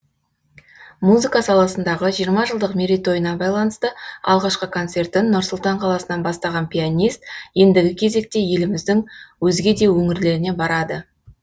музыка саласындағы жиырма жылдық мерейтойына байланысты алғашқы концертін нұр сұлтан қаласынан бастаған пианист ендігі кезекте еліміздің өзге де өңірлеріне барады